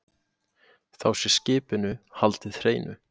Þá sé skipinu haldið hreinu